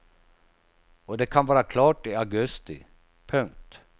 Och det kan vara klart i augusti. punkt